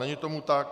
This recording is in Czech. Není tomu tak.